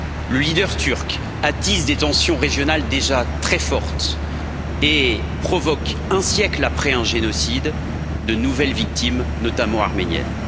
Le leader turc attise des tensions régionales déjà très fortes et provoque, un siècle après un génocide, de nouvelles victimes, notamment arméniennes.